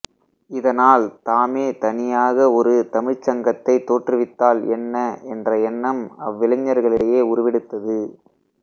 இதனால் தாமே தனியாக ஒரு தமிழ்ச் சங்கத்தைத் தோன்றுவித்தால் என்ன என்ற எண்ணம் அவ்விளைஞர்களிடையே உருவெடுத்தது